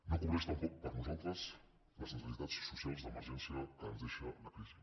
no cobreix tampoc per nosaltres les necessitats socials d’emergència que ens deixa la crisi